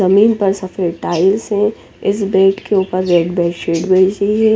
जमीन पर सफेद टाइल्स है इस बेड के ऊपर रेड बेड शीट है ।